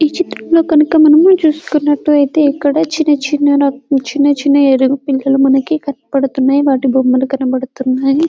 ఈ చిత్రంలో గనుక మనం చూస్తున్నట్టు అయితే ఇక్కడ చిన్న చిన్న ఇక్కడ చిన్న ఏనుగు పిల్లలు కనబడుతున్నాయి వాటి బొమ్మలు కనబడుతున్నాయి .